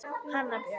Hanna Björg.